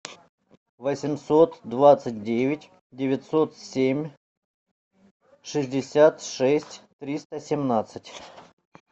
восемьсот двадцать девять девятьсот семь шестьдесят шесть триста семнадцать